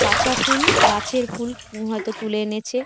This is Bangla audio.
কাঁচা ফুল গাছের ফুল হয়তো তুলে এনেছে।